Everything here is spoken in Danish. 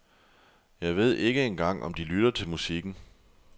Jeg ved ikke engang om de lytter til musikken.